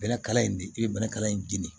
Bɛlɛkala in de i bɛlɛkala in dimi